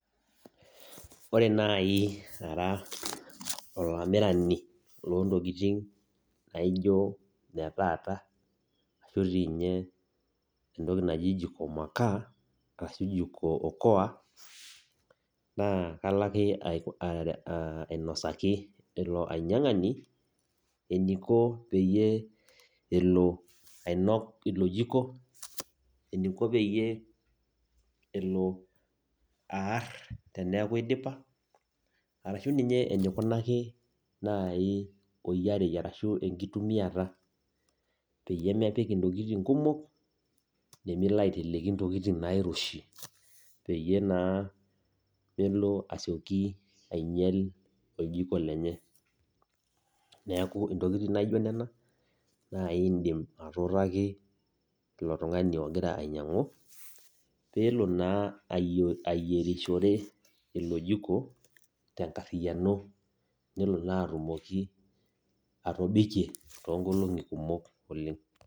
Ore nai ara olamirani lo ntokiting' naijo ne taata, ashu ninye entoki naji jiko makaa, arashu jiko okoa, naa kalake ainosaki ilo ainyang'ani, eniko peyie ele ainok ilo jiko, eniko peyie elo aar teneeku idipa, arashu ninye enikunaki nai oyiarei arashu enkitumiata. Peyie mepik intokiting kumok, nemelo aiteleki ntokiting nairoshi, peyie naa melo asioki ainyel oljiko lenye. Neeku intokiting naijo nena, nai indim atuutaki ilo tung'ani ogira ainyang'u, pelo naa ayierishore ilo jiko, tenkarriyiano, nelo naa atumoki atobikie toonkolong'i kumok oleng'.